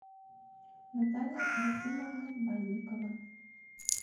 наталья рахимовна банникова